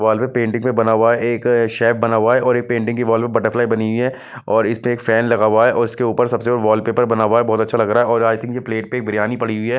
वाल में पेंटिंग में बना हुआ है एक शेफ बना हुआ है और एक पेंटिंग की वाल में बटरफ्लाई बनी हुई है और इसमें एक फैन लगा हुआ है और इसके ऊपर सबसे ऊपर वाल पेपर बना हुआ है बहत अच्छा लग रहा है और आई थिंक की प्लेट पे बिर्यानी पड़ी हुई है।